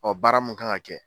Ɔ baara mun kan ka kɛ